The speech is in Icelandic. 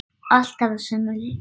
Alltaf sömu leið.